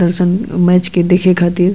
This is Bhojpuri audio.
दर्शन और मैच के दिखे खातिर --